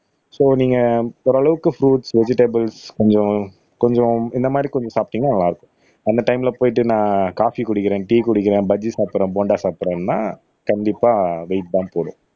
so நீங்க ஓரளவுக்கு fruits vegetables கொஞ்சம் கொஞ்சம் இந்த மாதிரி கொஞ்சம் சாப்பிட்டீங்கன்னா நல்லா இருக்கும் அந்த டைம்ல போயிட்டு நான் காபி குடிக்கிறேன் டி குடிக்கிறேன் பஜ்ஜி சாப்பிடுறேன் போண்டா சாப்பிடுறேன்னா கண்டிப்பா வெயிட் தான் போடும்